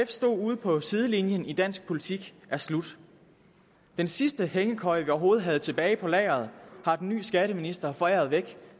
stod ude på sidelinjen af dansk politik er slut den sidste hængekøje vi overhovedet havde tilbage på lageret har den nye skatteminister foræret væk